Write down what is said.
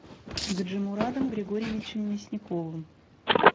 гаджимурадом григорьевичем мясниковым